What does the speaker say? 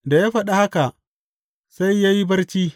Da ya faɗi haka, sai ya yi barci.